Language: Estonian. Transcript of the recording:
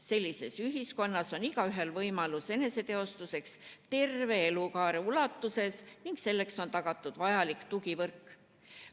Sellises ühiskonnas on igaühel võimalus eneseteostuseks terve elukaare ulatuses ning selleks on tagatud vajalik tugivõrk.